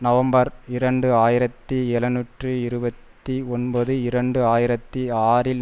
November இரண்டு ஆயிரத்தி எழுநூற்று இருபத்தி ஒன்பது இரண்டு ஆயிரத்தி ஆறில்